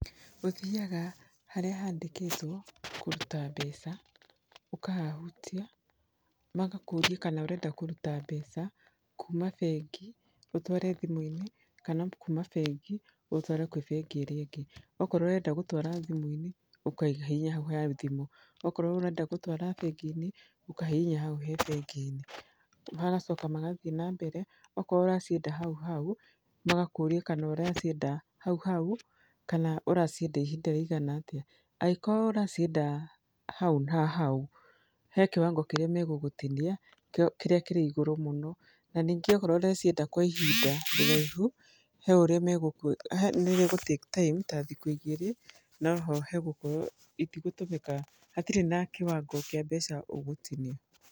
Ũthiyaga harĩa handĩkĩtwo kũruta mbeca, ũkahahutia magakũria kana ũrenda kũruta mbeca kuma bengi ũtware thimũinĩ kana kuma bengi ũtware kũrĩ bengi ĩrĩa ĩngĩ. Okorwo ũrenda gũtara thimũinĩ ũkahihinya hau ha thimũ akorwo ũrenda gũtwara ha bengi ũkahihinya hau he bengi. Magacoka magathiĩ na mbere akorwo ũracienda hau hau magakũrĩa kana ũracienda hau hau, kana ũracienda ihinda rĩigana atĩa angĩkorwo ũracienda hau hau he kiwango kĩrĩa magũgũtinia kĩrĩa kĩrĩ igũrũ mũno na ningĩ akorwo ũracienda kwa ihinda iraihu nĩrĩgũ take time ta thikũ igĩrĩ no ho hagũkorwo hatirĩ na kiwango kĩa mbeca ũgũtinio.